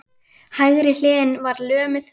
Hægri hliðin var lömuð.